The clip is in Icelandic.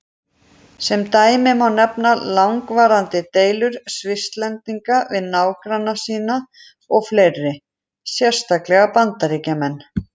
Sem dæmi má nefna langvarandi deilur Svisslendinga við nágranna sína og fleiri, sérstaklega Bandaríkjamenn.